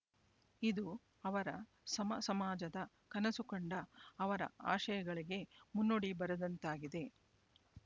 ಇದು ಅವರ ಸಮಸಮಾಜದ ಕನಸು ಕಂಡ ಅವರ ಆಶಯಗಳಿಗೆ ಮುನ್ನುಡಿ ಬರೆದಂತಾಗಿದೆ